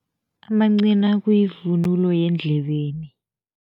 Amancina kuyivunulo yendlebeni.